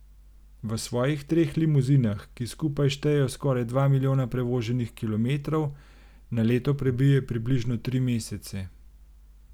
V svojih treh limuzinah, ki skupaj štejejo skoraj dva milijona prevoženih kilometrov, na leto prebije približno tri mesece.